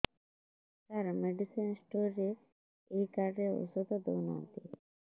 ସାର medicine store ରେ ଏଇ card ରେ ଔଷଧ ଦଉନାହାନ୍ତି